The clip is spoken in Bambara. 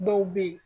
Dɔw bɛ yen